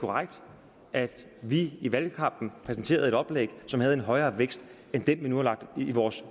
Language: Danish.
korrekt at vi i valgkampen præsenterede et oplæg som havde en højere vækst end den vi nu har lagt ind i vores